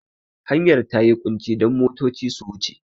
Hanyar ta yi ƙunci don motoci su wuce.